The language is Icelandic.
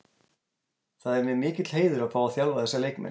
Það er mér mikill heiður að fá að þjálfa þessa leikmenn.